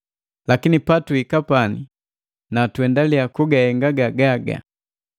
Lakini patuhiki pani na tuendaliya kugahenga gagaga.